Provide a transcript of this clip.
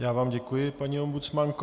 Já vám děkuji, paní ombudsmanko.